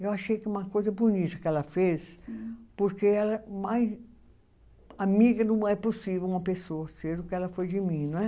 Eu achei que uma coisa bonita que ela fez, porque ela é mais amiga do que é possível uma pessoa ser o que ela foi de mim, não é?